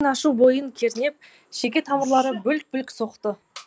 намыс пен ашу бойын кернеп шеке тамырлары бүлк бүлк соқты